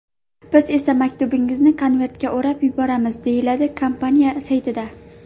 Biz esa maktubingizni ‘konvertga o‘rab’ yuboramiz”, deyiladi kompaniya saytida.